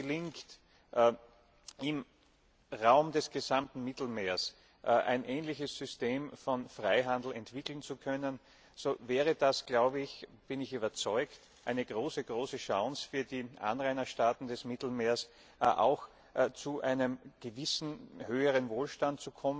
Wenn es jetzt gelingt, im Raum des gesamten Mittelmeers ein ähnliches System von Freihandel entwickeln zu können, so wäre das, davon bin ich überzeugt, eine große Chance für die Anrainerstaaten des Mittelmeers, auch zu einem gewissen höheren Wohlstand